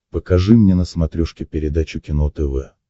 покажи мне на смотрешке передачу кино тв